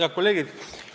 Head kolleegid!